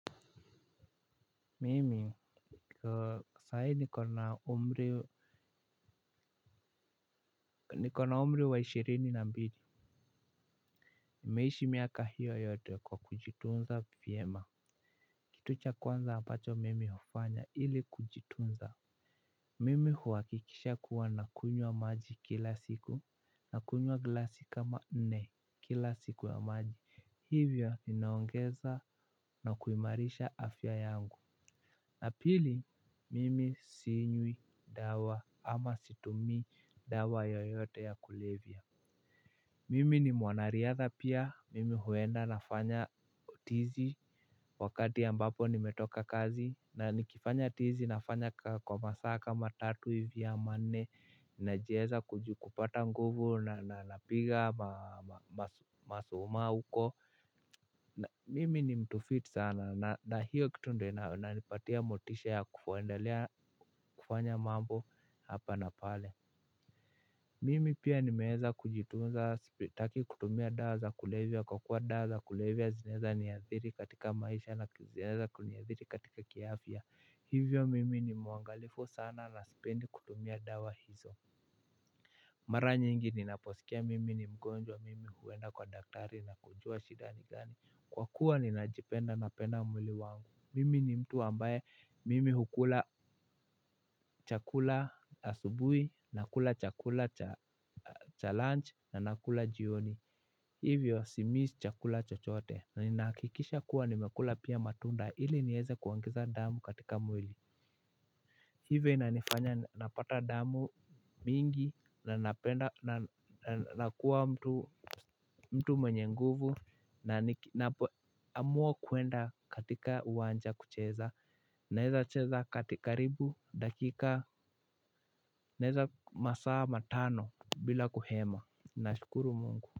Mimi saa hii niko na umri niko na umri wa ishirini na mbili. Nimeishi miaka hiyo yote kwa kujitunza vyema. Kitu cha kwanza ambacho mimi hufanya ili kujitunza. Mimi huhakikisha kuwa nakunywa maji kila siku nakunywa glasi kama nne kila siku ya maji hivyo ninaongeza na kuimarisha afya yangu. Na pili mimi sinywi dawa ama situmi dawa yoyote ya kulevya. Mimi ni mwanariadha pia mimi huenda nafanya tizi wakati ambapo nimetoka kazi na nikifanya tizi nafanya kwa masaa kama tatu hivi ama nne najieza kupata nguvu na napiga masuma huko. Na mimi ni mtu fit sana na hiyo kitu ndio inanipatia motisha ya kuendelea kufanya mambo hapa na pale. Mimi pia nimeeza kujitunza sitaki kutumia dawa za kulevya kwa kuwa dawa za kulevya zinaeza niadhiri katika maisha na zinaeza kuniadhiri katika kiafya. Hivyo mimi ni mwangalifu sana na sipendi kutumia dawa hizo. Mara nyingi ninaposikia mimi ni mgonjwa mimi huenda kwa daktari na kujua shida ni gani. Kwa kuwa ninajipenda napenda mwili wangu. Mimi ni mtu ambaye mimi hukula chakula asubuhi. Nakula chakula cha lunch na nakula jioni. Hivyo simiss chakula chochote. Na ninahakikisha kuwa nimekula pia matunda ili nieze kuongeza damu katika mwili. Hivyo inanifanya napata damu mingi. Na nakua mtu mwenye nguvu. Na ninapoamua kuenda katika uwanja kucheza naeza cheza katika ribu dakika. Naeza masaa matano bila kuhema. Nashukuru mungu.